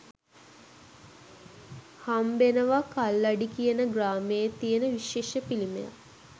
හම්බෙනවා කල්ලඩි කියන ග්‍රාමයේ තියෙන විශේෂ පිළිමයක්